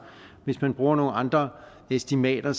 hvis man bruger nogle andre estimater